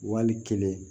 Wali kelen